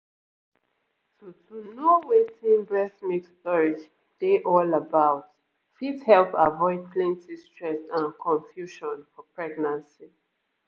to to know wetin breast milk storage dey all about fit help avoid plenty stress and confusion for pregnancy